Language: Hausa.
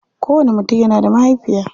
Kowanni mutum yana da mahaifiya.